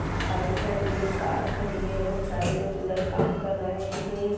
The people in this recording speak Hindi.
बाइक खड़ी है कार खड़ी है बहुत सारे लोग उधर काम कर रहे हैं।